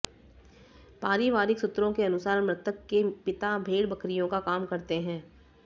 पारिवारिक सूत्रों के अनुसार मृतक के पिता भेड़ बकरियों का काम करते हैं